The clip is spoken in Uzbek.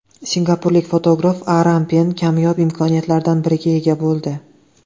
Singapurlik fotograf Aram Pen kamyob imkoniyatlardan biriga ega bo‘ldi.